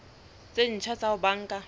tse ntjha tsa ho banka